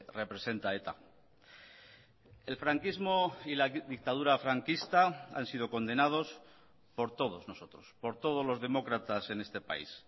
representa eta el franquismo y la dictadura franquista han sido condenados por todos nosotros por todos los demócratas en este país